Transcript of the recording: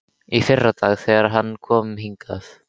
Í fyrradag, þegar hann kom hingað.